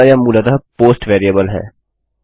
अतः यह मूलतः पोस्ट वेरिएबल है